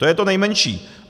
To je to nejmenší.